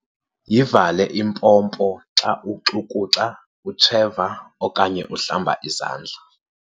Yivale impompo xa uxukuxa, utsheva okanye uhlamba izandla.